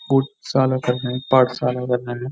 को सालो कर रहे हैं पार्ट साल हैं --